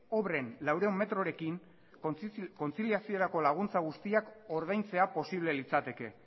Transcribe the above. obren laurehun metrorekin kontziliaziorako laguntza guztiak ordaintzea posible litzateke